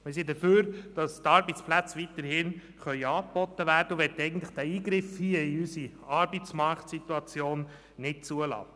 Wir sind dafür, dass die Arbeitsplätze weiterhin angeboten werden können, und möchten diesen Eingriff in unsere Arbeitsmarktsituation eigentlich nicht zulassen.